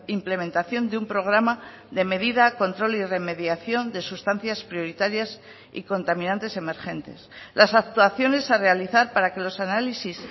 implementación de un programa de medida control y remediación de sustancias prioritarias y contaminantes emergentes las actuaciones a realizar para que los análisis